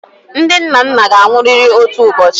Ndị nnanna ga-anwụrịrị otu ụbọchị.